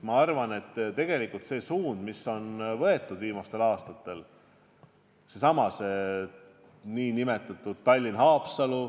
Ma arvan, et tegelikult see suund, mis on võetud viimastel aastatel – seesama Tallinna–Haapsalu liin –, on õige.